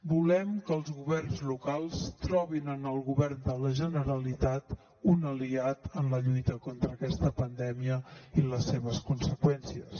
volem que els governs locals trobin en el govern de la generalitat un aliat en la lluita contra aquesta pandèmia i les seves conseqüències